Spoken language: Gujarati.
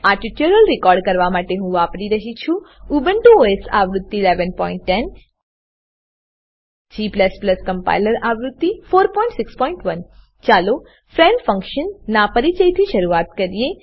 આ ટ્યુટોરીયલ રેકોર્ડ કરવા માટે હું વાપરી રહ્યો છું ઉબુન્ટુ ઓએસ આવૃત્તિ 1110 g કમ્પાઈલર આવૃત્તિ 461 ચાલો ફ્રેન્ડ ફંકશન ફ્રેન્ડ ફંક્શન નાં પરિચયથી શરૂઆત કરીએ